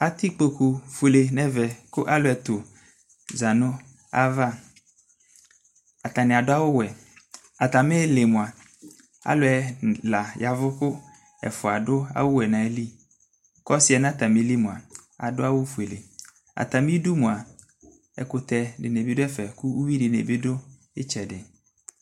Atɛ ikpokufuele nʋ ɛvɛ kʋ alʋ ɛtʋ za nʋ ayava Atanɩ adʋ awʋwɛ Atamɩ ɩɩlɩ mʋa, alʋ ɛla ya ɛvʋ Ɛfʋa adʋ awʋwɛ nʋ ayili kʋ ɔsɩ yɛ nʋ atamɩli mʋa adʋ awʋfuele Atamɩdu mʋa, ɛkʋtɛ dɩnɩ bɩ dʋ ɛfɛ kʋ uyui dɩnɩ bɩ dʋ ɩtsɛdɩ